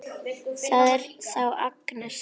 Það er þá Agnes!